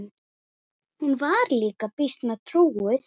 Hún var líka býsna trúuð.